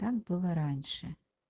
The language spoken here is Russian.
так было раньше